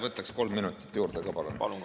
Võtaksin kolm minutit juurde ka, palun!